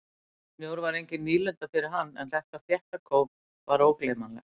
Snjór var engin nýlunda fyrir hann en þetta þétta kóf var ógleymanlegt.